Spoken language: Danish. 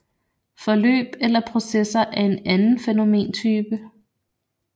Forløb eller processer er en anden fænomentype